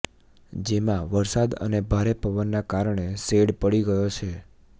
જેમાં વરસાદ અને ભારે પવનના કારણે શેડ પડી ગયો છે